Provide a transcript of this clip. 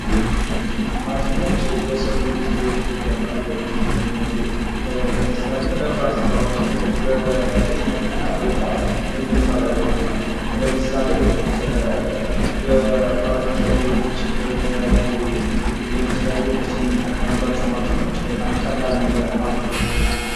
ማሽኖች የሰው ልጅን ህይወት እያቃለሉ ይገኛሉ። ለምሳሌ ከባድ ስራዎችን በፍጥነት እና በጥራት እንድንሰራ ይረዱናል። ለምሳሌ በፈርኒቸር ቤቶች በተለያዩ የመስሪያ ቤቶች የምንጠቀማቸው ማሽኖች በጣም ቀላል አርገውልናል።